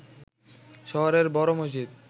শহরের বড় মসজিদ